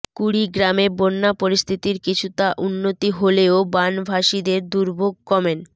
কুড়িগ্রামে বন্যা পরিস্থিতির কিছুটা উন্নতি হলেও বানভাসীদের দুর্ভোগ কমেন